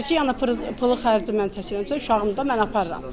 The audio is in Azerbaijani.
Bu da deyir ki, yəni pulu xərci mən çəkirəmsə, uşağımdır mən aparıram.